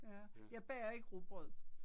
Ja. Jeg bager ikke rugbrød